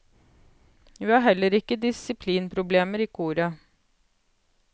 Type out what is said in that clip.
Vi har heller ikke disiplinproblemer i koret.